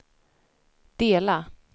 dela